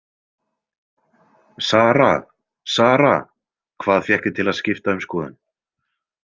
Sara, Sara, hvað fékk þig til að skipta um skoðun?